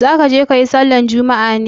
Za ka je ka yi sallar juma'a ne?